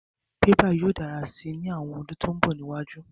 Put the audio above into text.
Bébà yóò dára si ní àwọn ọdún tó mbọ̀ níwájú